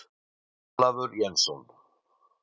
Ólafur Jensson.